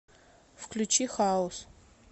включи хаус